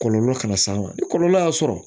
Kɔlɔlɔ kana s'a ma ni kɔlɔlɔ y'a sɔrɔ